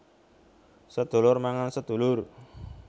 Sedulur mangan sedulur